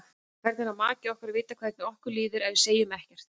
Hvernig á maki okkar að vita hvernig okkur líður ef við segjum ekkert?